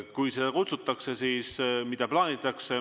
Kui kutsutakse, siis mida plaanitakse?